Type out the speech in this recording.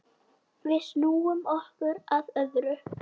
Við snúum okkur að öðru.